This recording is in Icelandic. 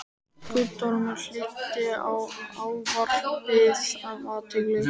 Guttormur hlýddi á ávarpið af athygli.